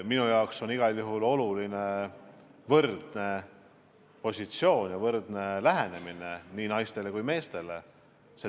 Minu jaoks on igal juhul olulised meeste ja naise võrdsed positsioonid ja võrdne lähenemine neile.